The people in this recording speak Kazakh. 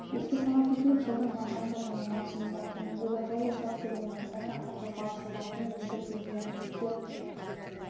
еске сала кетейік жылдың мамырында және маусымында төмендегі жол учаскелерінде біржақты қозғалыс жобасының екі кезеңі іске